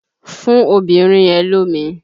Fún obìnrin yẹn lómi!